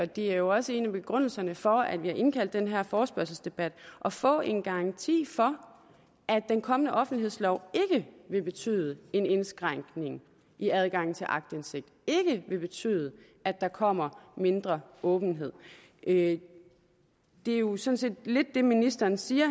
det er jo også en af begrundelserne for at vi har indkaldt til den her forespørgselsdebat at få en garanti for at den kommende offentlighedslov ikke vil betyde en indskrænkning i adgangen til aktindsigt ikke vil betyde at der kommer mindre åbenhed det er jo sådan lidt det ministeren siger